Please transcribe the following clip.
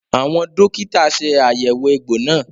Àwọn dókítà ṣe àyẹ̀wò egbò náà